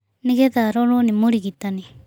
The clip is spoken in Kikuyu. Nĩ getha arorwo nĩ mũrigitani